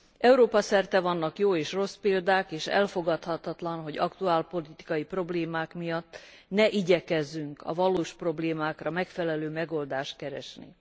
Európa szerte vannak jó és rossz példák, és elfogadhatatlan, hogy aktuálpolitikai problémák miatt ne igyekezzünk a valós problémákra megfelelő megoldást keresni.